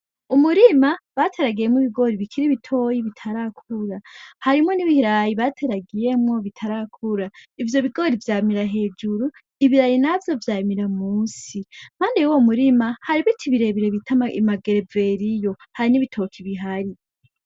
Umurima bateragiyemwo ibigori bikiri bitoya bitarakura. Harimwo n'ibirayi bateragiyemwo bitarakura. Ivyo bigori vyamira hejuru, ibirayi navyo vyamira munsi. Impande y'uwo murima, hari ibiti birebire bita amagereveriyo. Hari n'ibitoki bihari.